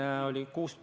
Austatud Riigikogu!